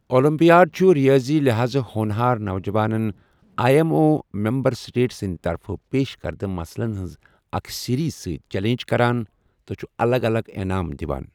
Olympiad چھُ ریٲضی لحاظٕ ہونہار نوجوانَن I M O member state سٕنٛدِ طرفہٕ پیش کردٕ مسلَن ہِنٛزِ اَکہِ سیریز سۭتۍ چیلنج کران، تہٕ چھُ الگ الگ انعام دِوان۔